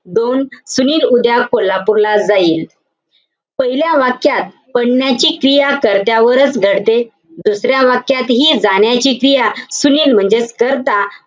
दोन, सुनील उद्या कोल्हापूरला जाईल. पहिल्या वाक्यात पडण्याची क्रिया कर्त्यावरच घडते. दुसऱ्या वाक्यातही जाण्याची क्रिया सुनील म्हणजेच कर्ता,